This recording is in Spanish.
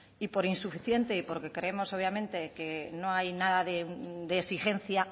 y por insuficiente y porque creemos obviamente que no hay nada de exigencia